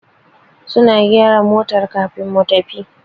Suna gyara motar kafin mu tafi.